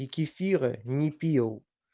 и кефира не пил